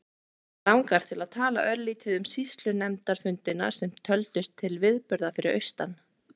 Mig langar til að tala örlítið um sýslunefndarfundina sem töldust til viðburða fyrir austan.